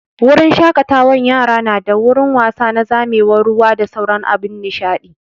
Wurin shaƙatawan yara nada wurin wasa na zamewar ruwa da sauran abun nishaɗi